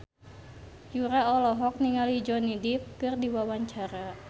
Yura olohok ningali Johnny Depp keur diwawancara